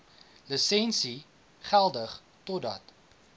lisensie geldig totdat